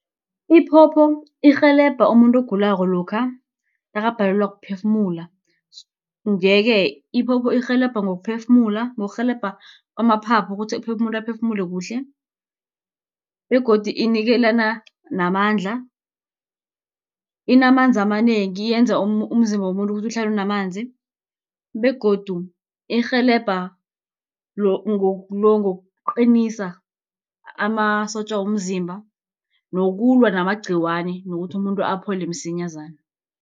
Iphopho irhelebha umuntu ogulako lokha nakabhalelwa kuphefumula, nje-ke iphopho irhelebha ngokuphefumula, ngokurhelebha kwamaphaphu ukuthi umuntu aphefumule kuhle, begodu inikelana namandla. Inamanzi amanengi, yenza umzimba womuntu ukuthi uhlale unamanzi, begodu irhelebha ngokuqinisa amasotja womzimba, nokulwa namagciwane nokuthi umuntu aphole msinyazana.